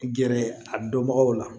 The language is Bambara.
Gɛrɛ a dɔnbagaw la